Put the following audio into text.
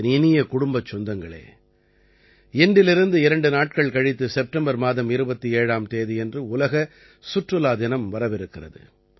என் இனிய குடும்பச் சொந்தங்களே இன்றிலிருந்து 2 நாட்கள் கழித்து செப்டம்பர் மாதம் 27ஆம் தேதியன்று உலக சுற்றுலா தினம் வரவிருக்கிறது